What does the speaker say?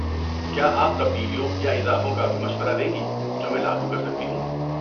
کیا آپ تبدیلیوں یا اضافوں کا بھی مشورہ دیں گی جو میں لاگو کر سکتی ہوں؟